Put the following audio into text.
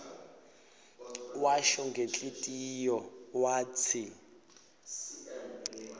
washo ngenhlitiyo watsi